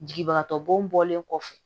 Jigibagatɔ bɔnlen kɔfɛ